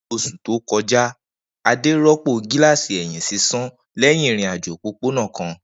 Ni oṣu to kọja, Ade rọpo gilasi ẹhin sisan lẹhin irin-ajo opopona kan.